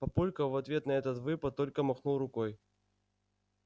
папулька в ответ на этот выпад только махнул рукой